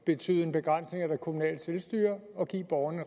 betyde en begrænsning af det kommunale selvstyre at give borgerne